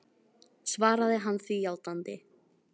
Svaraði hann því játandi.